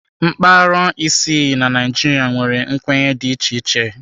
Mpaghara isii na Naịjirịa nwere nkwenye dị iche iche.